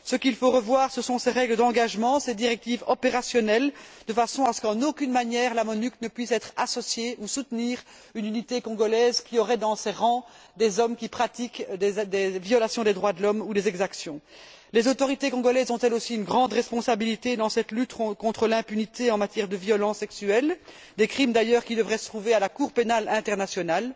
Ce qu'il faut revoir, ce sont ses règles d'engagement, ses directives opérationnelles, de façon à ce qu'en aucune manière, la MONUC ne puisse être associée ou soutenir une unité congolaise qui aurait, dans ses rangs, des hommes qui pratiquent des violations des droits de l'homme ou des exactions. Les autorités congolaises ont, elles aussi, une grande responsabilité dans cette lutte contre l'impunité en matière de violences sexuelles, des crimes d'ailleurs qui devraient être portés devant la Cour pénale internationale.